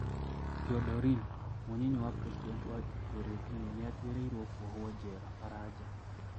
Teodorin:Mũnyinyi wa Presidenti wa Equitorial Guinea niatuiriirwo kũohwo jera Faraja.